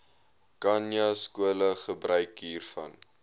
khanyaskole gebruik hiervan